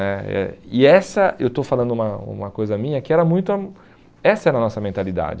Né eh e essa, eu estou falando uma uma coisa minha que era muita, essa era a nossa mentalidade.